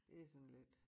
Det sådan lidt